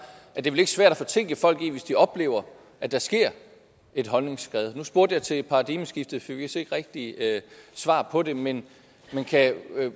at det vel ikke er svært at fortænke folk i at de oplever at der sker et holdningsskred nu spurgte jeg til paradigmeskiftet fik vist ikke rigtig svar på det men kan